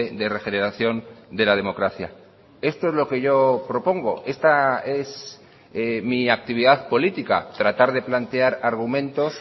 de regeneración de la democracia esto es lo que yo propongo esta es mi actividad política tratar de plantear argumentos